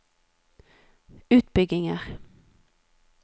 utbygginger